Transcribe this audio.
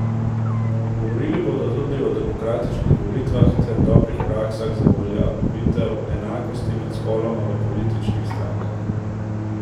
Govorili bodo tudi o demokratičnih volitvah ter dobrih praksah za uveljavitev enakosti med spoloma v političnih strankah.